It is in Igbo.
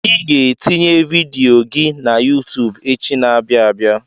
Ị ga-etinye vidiyo gị na YuuTub echi na-abịa abịa.